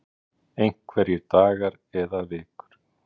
Lára: Einhverjir dagar eða vikur?